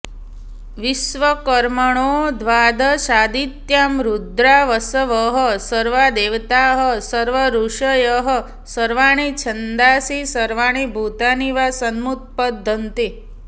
विश्वकर्मणो द्वादशादित्या रुद्रा वसवः सर्वे देवताः सर्वे ऋषयः सर्वाणि छन्दांसि सर्वाणि भूतानि वा समुत्पद्यन्ते